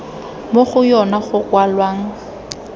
mo go yona go kwalwang